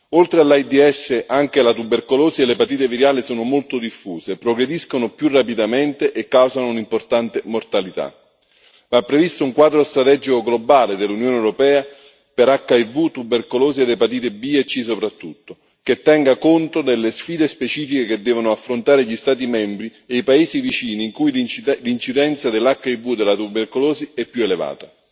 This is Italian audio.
Oltre all'AIDS, anche la tubercolosi e l'epatite virale sono molto diffuse, progrediscono più rapidamente e causano un'importante mortalità. Va previsto un quadro strategico globale dell'Unione europea per HIV, tubercolosi ed epatite B e C soprattutto, che tenga conto delle sfide specifiche che devono affrontare gli Stati membri e i paesi vicini, in cui l'incidenza dell'HIV e della tubercolosi è più elevata.